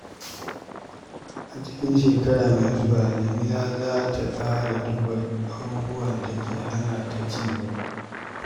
A cikin shekara mai zuwa, Jamila za ta ƙara duba abubuwan da ke hana ta cigaba.